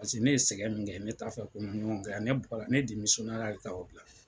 Paseke ne ye sɛgɛn min kɛ ne t'a fɛ ko ɲɔgɔn kɛ yan, ne bɔra ne de ka o bila.